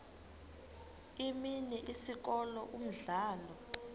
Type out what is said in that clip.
imini isikolo umdlalo